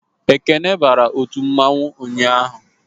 Ekene bara otu mmanwu ụnyaahụ